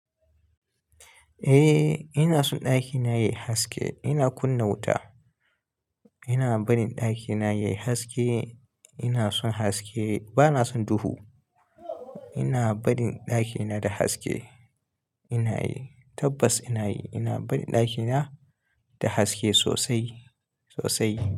Eh ina so ɗakina yayi haske, ina kunna wuta. Ina barin ɗakina yayi haske, ina son haske bana son duhu. Ina barin ɗakina da haske, ina yi tabbas ina yi. Ina barin ɗakina da haske sosai sosai.